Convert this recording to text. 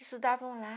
Estudavam lá.